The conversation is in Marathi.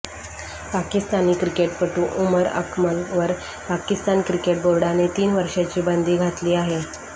पाकिस्तानी क्रिकेटपटू उमर अकमलवर पाकिस्तान क्रिकेट बोर्डोने तीन वर्षांची बंदी घातली आहे